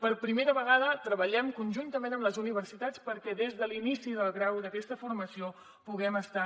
per primera vegada treballem conjuntament amb les universitats perquè des de l’inici del grau d’aquesta formació puguem estar